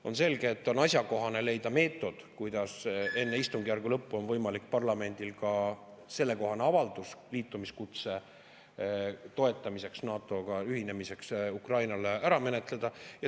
On selge, et asjakohane on leida meetod, kuidas enne istungjärgu lõppu oleks võimalik parlamendil sellekohane avaldus ära menetleda, et toetada liitumiskutset Ukraina ühinemiseks NATO-ga.